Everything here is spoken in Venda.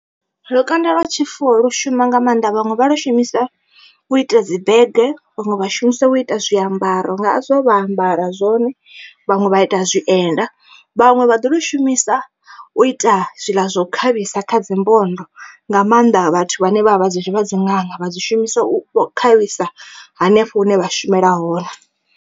Lukanda lwa tshifuwo lu shuma nga maanḓa vhaṅwe vha lu shumisa u ita dzi bege vhaṅwe vha shumisa u ita zwiambaro nga zwo vha ambara zwone vhaṅwe vha ita zwienda. Vhaṅwe vha ḓi lu shumisa u ita zwiḽa zwa u khavhisa kha dzimbondo nga maanḓa vhathu vhane vha vha vha dziṅanga vha dzi shumisa u khavhisa hanefho hune vha shumela hone.